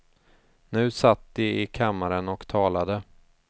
Nu satt de i kammaren och talade.